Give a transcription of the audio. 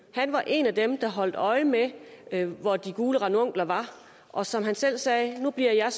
han var en af dem der holdt øje med med hvor de gule ranunkler var og som han selv sagde nu bliver jeg